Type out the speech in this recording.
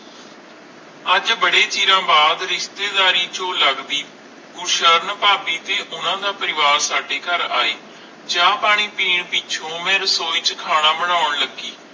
ਅਜੇ ਬਾਰੇ ਚਿਰ ਬਾਦ ਰਿਸ਼ਤੇ ਦਾਰੀ ਚੂ ਲੱਗਦੀ ਕੁਰਸ਼ਾਂ ਫਾਬੀ ਦੇ ਓਹਨਾ ਦਾ ਪਰਿਵਾਜ਼ ਸਾਡੇ ਕਰ ਆਈ ਚ ਪਾਣੀ ਪੀਣ ਲੱਗੀ ਪਿੱਛੋਂ ਓਵੇ ਰਸੋਈ ਚ ਖਾਣਾ ਪਾਕਾਂ ਲੱਗੀ